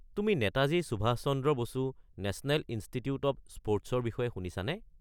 তুমি Netaji Subhash Chandra Bose national institute of স্পৰ্টছ-ৰ বিষয়ে শুনিছানে?